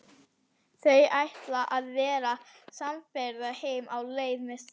Þau ætla að verða samferða heim á leið með strætó.